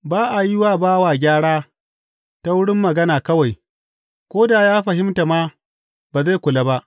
Ba a yi wa bawa gyara ta wurin magana kawai; ko da ya fahimta ma, ba zai kula ba.